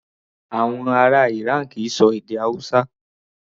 Àwọn ará Iran kì í ṣọ èdè Hausa.